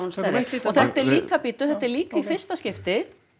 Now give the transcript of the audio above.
þetta er líka bíddu þetta er líka í fyrsta skipti